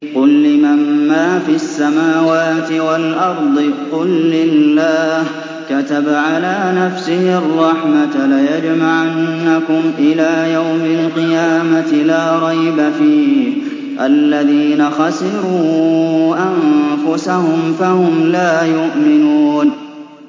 قُل لِّمَن مَّا فِي السَّمَاوَاتِ وَالْأَرْضِ ۖ قُل لِّلَّهِ ۚ كَتَبَ عَلَىٰ نَفْسِهِ الرَّحْمَةَ ۚ لَيَجْمَعَنَّكُمْ إِلَىٰ يَوْمِ الْقِيَامَةِ لَا رَيْبَ فِيهِ ۚ الَّذِينَ خَسِرُوا أَنفُسَهُمْ فَهُمْ لَا يُؤْمِنُونَ